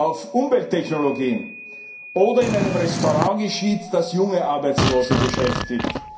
auf Umwelttechnologien oder in einem Restaurant geschieht, das junge Arbeitslose beschäftigt.